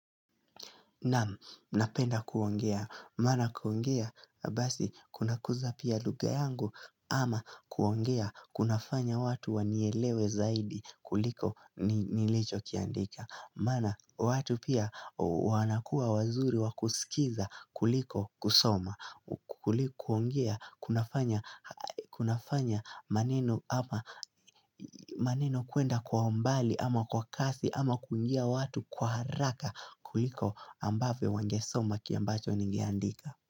Nam, napenda kuongea, maana kuongea, basi, kuna kuza pia lugha yangu, ama kuongea, kuna fanya watu wanielewe zaidi kuliko nilichokiandika Maana watu pia wanakua wazuri wa kuskiza kuliko kusoma ili kuongea kunafanya maneno kuenda kwa mbali ama kwa kasi ama kuingia watu kwa haraka kuliko ambavyo wangesoma kile ambacho ningeandika.